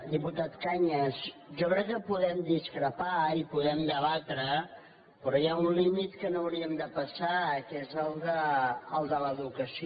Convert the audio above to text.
diputat cañas jo crec que podem discrepar i podem debatre però hi ha un límit que no hauríem de passar que és el de l’educació